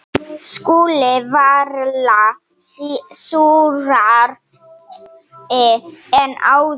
SKÚLI: Varla súrari en áður.